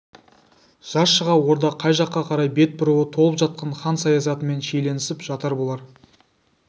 жаз шыға орда қай жаққа қарай бет бұруы толып жатқан хан саясатымен шиеленісіп жатар болар